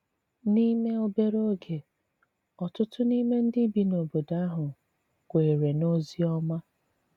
N’ime obere oge, ọ̀tụ̀tụ̀ n’ime ndị bi n’obodo ahụ kwèrè n’ozi ọma.